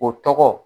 O tɔgɔ